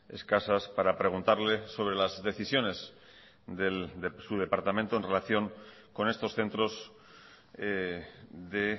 escasas para preguntarle sobre las decisiones de su departamento en relación con estos centros de